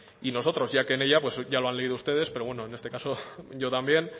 y nosotros ya que en ella ya lo han leído ustedes pero bueno en este caso yo también